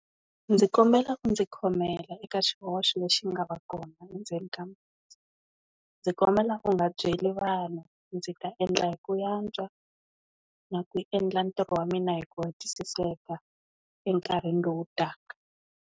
Ndzi kombela u ndzi khomela eka xihoxo lexi nga va kona ndzeni ka masi, ndzi kombela u nga byeli vanhu ndzi ta endla hi ku antswa na ku endla ntirho wa mina hi ku hetisiseka enkarhini lowu taka.